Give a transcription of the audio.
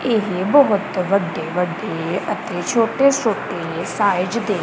ਇਹ ਬਹੁਤ ਵੱਡੇ ਵੱਡੇ ਅਤੇ ਛੋਟੇ ਛੋਟੇ ਸਾਈਜ ਦੇ--